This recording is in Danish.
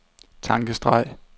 tankestreg